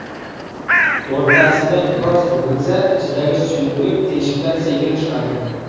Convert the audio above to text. O‘rtasidan biroz bukilsa, ichidagi suyuqlik teshikdan sekin chiqadi.